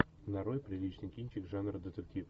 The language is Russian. нарой приличный кинчик жанра детектив